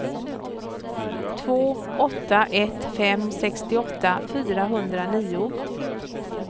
två åtta ett fem sextioåtta fyrahundranio